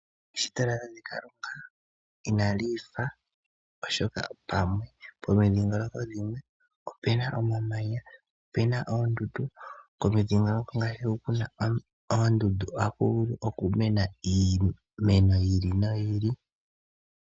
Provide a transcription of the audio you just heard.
Eshito lya tate Kalunga inali ifa, oshoka pomidhingoloko dhimwe opu na omamanya noondundu. Komidhingoloko hoka ku na oondundu ohaku vulu okumena iimeno yi ili noyi ili.